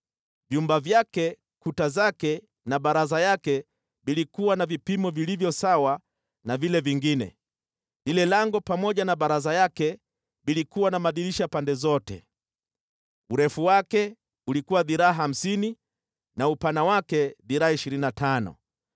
Vyumba vyake, kuta zake na baraza yake vilikuwa na vipimo vilivyo sawa na vile vingine. Lile lango pamoja na baraza yake vilikuwa na madirisha pande zote. Urefu wake ulikuwa dhiraa hamsini na upana wake dhiraa ishirini na tano.